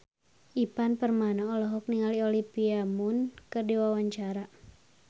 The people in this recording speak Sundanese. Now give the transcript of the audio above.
Ivan Permana olohok ningali Olivia Munn keur diwawancara